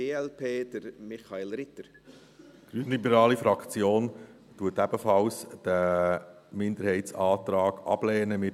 Die grünliberale Fraktion lehnt den Minderheitsantrag ebenfalls ab.